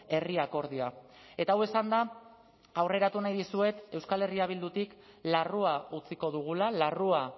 herri akordioa eta hau esanda aurreratu nahi dizuet euskal herria bildutik larrua utziko dugula larrua